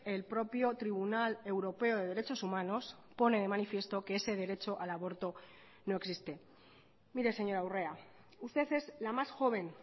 el propio tribunal europeo de derechos humanos pone de manifiesto que ese derecho al aborto no existe mire señora urrea usted es la más joven